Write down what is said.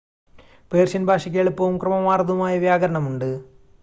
Persian ഭാഷയ്ക്ക് എളുപ്പവും ക്രമമാർന്നതുമായ വ്യാകരണം ഉണ്ട്